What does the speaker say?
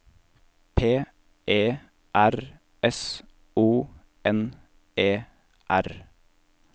P E R S O N E R